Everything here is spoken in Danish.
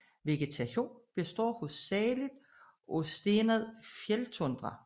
Vegetation består hovedsageligt af stenet fjelltundra